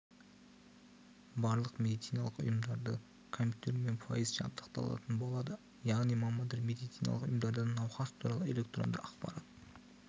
барлық медициналық ұйымдары компьютермен пайыз жабдықталатын болады яғни мамандар медициналық ұйымдардан науқас туралы электронды ақпарат